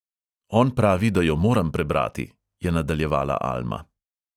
"On pravi, da jo moram prebrati," je nadaljevala alma.